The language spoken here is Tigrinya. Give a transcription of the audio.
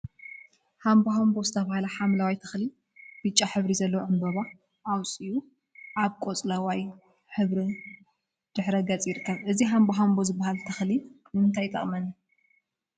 ሃምቦሃምቦ ዝተብሃለ ሓምለዋይ ተክሊ ብጫ ሕብሪ ዘለዎ ዕምበባ አውፅኡ አብ ቆፅለዋይ ሕብሪ ድሕረ ገፅ ይርከብ፡፡ እዚ ሃምቦሃምቦ ዝብሃል ተክሊ ንምንታይ ይጠቅም